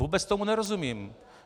Vůbec tomu nerozumím.